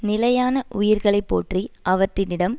நிலையான உயிர்களை போற்றி அவற்றினிடம்